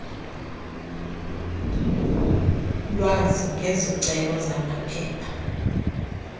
lwazi ngezicelo zamaphepha